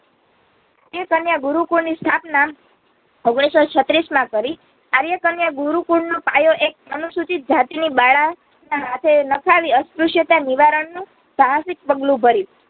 એ કન્યા ગુરુકુળ ની સ્થાપના ઓગણીસસો છત્રીસમાં કરી. આર્યકન્યા ગુરુકુલનો પાયો એક અનુસૂચિત જાતિની બાળાના સાથે નાખવી અષપૃષયતા નિવારણનું સાહસિક પગલું ભર્યું